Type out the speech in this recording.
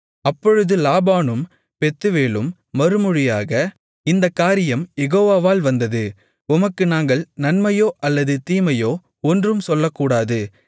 அப்பொழுது லாபானும் பெத்துவேலும் மறுமொழியாக இந்தக் காரியம் யெகோவாவால் வந்தது உமக்கு நாங்கள் நன்மையோ அல்லது தீமையோ ஒன்றும் சொல்லக்கூடாது